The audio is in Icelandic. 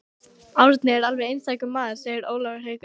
Árni er alveg einstakur maður segir Ólafur Haukur.